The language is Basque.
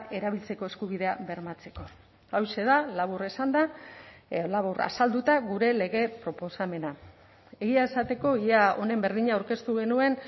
erabiltzeko eskubidea bermatzeko hauxe da labur esanda labur azalduta gure lege proposamena egia esateko ia honen berdina aurkeztu genuen